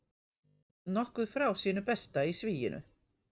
Nokkuð frá sínu besta í sviginu